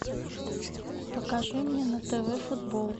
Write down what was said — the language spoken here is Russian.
покажи мне на тв футбол